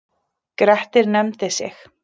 Grettir nefndi sig.